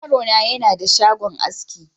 Yaro na yana da shagon aski.